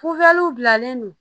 bilalen don